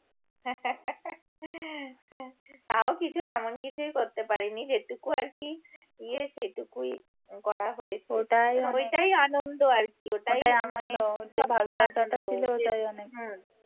তাও কিছু তেমন কিছু করতে পারিনি যেটুকু আরকি ইয়ে সেটুকুই করা হয়েছে ওটাই আনন্দ আরকি ওটাই মানে সবচেয়ে আনন্দ